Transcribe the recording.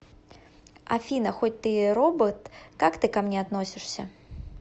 афина хоть ты и робот как ты ко мне относишься